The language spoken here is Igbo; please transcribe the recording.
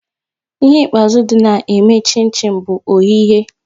Ihe ikpeazụ dị na eme chin chin bụ oyighe